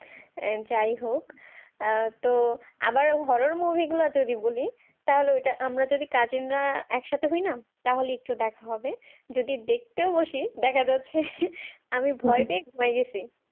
আহ যাই হোক আহ তো আবার horror movie গুলা যদি বলি তাহলে ওইটা আমরা যদি cousin রা একসাথে হই না তাহলে একটু দেখা হবে যদি দেখতে বসি দেখা যাচ্ছে আমি ভয় পেয়ে বাহির হইসি